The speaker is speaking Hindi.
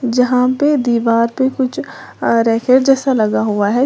जहां पे दीवार पे कुछ आ रैके जैसा लगा हुआ है।